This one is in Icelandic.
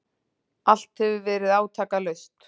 Allt hefur verið átakalaust.